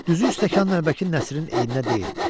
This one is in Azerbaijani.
Düzü stəkan-nəlbəki Nəsirin eyinə deyildi.